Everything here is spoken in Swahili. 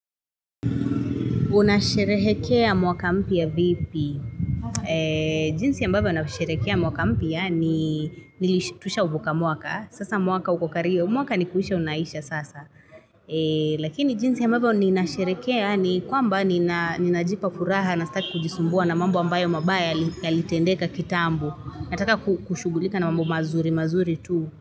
Unasherehekea mwaka mpya vipi? Jinsi ambavyo nasherehekea mwaka mpya ni nilish tushauvuka mwaka. Sasa mwaka uku kariyo. Mwaka ni kuisha unaisha sasa. Lakini jinsi ambavyo ninasherehekea ni kwamba ninajipa furaha na sitaki kujisumbua na mambo ambayo mabaya yalitendeka kitambo. Nataka kushughulika na mambo mazuri, mazuri tu.